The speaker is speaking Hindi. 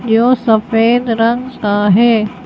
जो सफेद रंग का है।